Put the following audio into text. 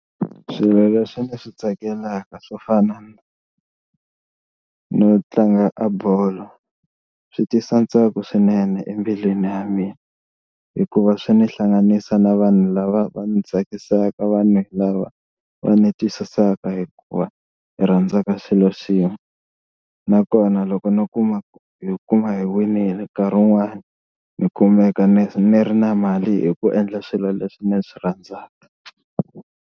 Swilo leswi ni swi tsakelaka swo fana no tlanga a bolo swi tisa ntsako swinene embilwini ya mina, hikuva swi ni hlanganisa na vanhu lava va ndzi tsakisaka vanhu lava va ni twisisaka hikuva hi rhandzaka xilo xin'we. Nakona loko ni kuma hi kuma hi winile nkarhi un'wani ni kumeka ni ri na mali hi ku endla swilo leswi ni swi rhandzaka.